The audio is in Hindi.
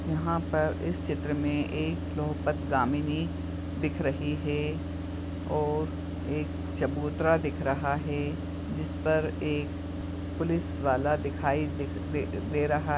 यहाँ पे इस चित्र में एक पद्गामिनी दिख रही है और एक चबूतरा दिख रहा है। जिस पर एक पुलिसवाला दिखाई दे दे दे रहा है।